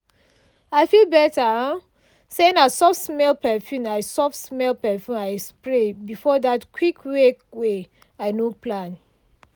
i feel better um say na soft-smell perfume i soft-smell perfume i spray before that quick wake way i no plan.